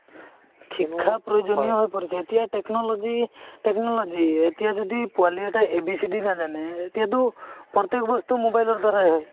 শিক্ষা প্ৰয়োজনীয় হৈ পৰিছে এতিয়া technology, technology এতিয়া যদি পোৱালি এটাই a,b,c,d নাজানে এতিয়াটো প্ৰত্যেক বস্তু mobile ৰ দাৰাই হয়